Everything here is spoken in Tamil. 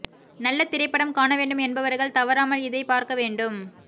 நல்ல திரைப்படம் காண வேண்டும் என்பவர்கள் தவறாமல் இதை பார்க்க வேண்டும்